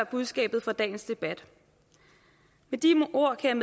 budskabet fra dagens debat med de ord kan